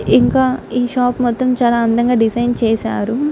ఇంకా ఈ షాప్ మొత్తం చాలా అందంగా డిజైన్ చేసారు.